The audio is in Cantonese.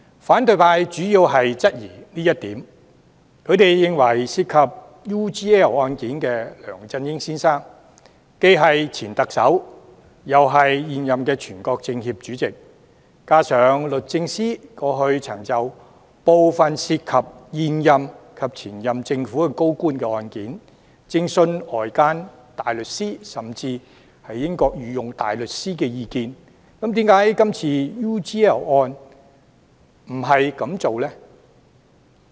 反對派主要質疑這一點，認為涉及 UGL 案件的梁振英先生，既是前特首，又是現任全國政協副主席，加上律政司過往曾就部分涉及現任及前任政府高官的案件，徵詢外間大律師、甚至是英國御用大律師的意見，那麼為何這次就 UGL 案又不這樣做呢？